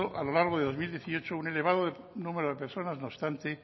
a lo largo del dos mil dieciocho un elevado número de personas no obstante